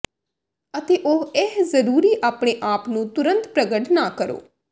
ਅਤੇ ਉਹ ਇਹ ਜ਼ਰੂਰੀ ਆਪਣੇ ਆਪ ਨੂੰ ਤੁਰੰਤ ਪ੍ਰਗਟ ਨਾ ਕਰੋ